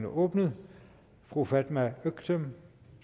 åbnet fru fatma øktem